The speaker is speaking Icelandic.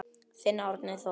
Þinn Árni Þór.